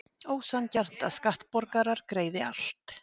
Ósanngjarnt að skattborgarar greiði allt